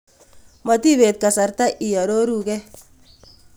Matipeet kasarta iaroruu gee